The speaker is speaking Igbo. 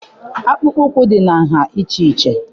akpụkpọ ụkwụ dị na nha iche iche